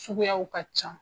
Suguyaw ka ca.